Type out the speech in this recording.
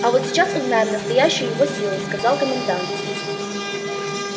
а вот сейчас узнаем настоящую его силу сказал комендант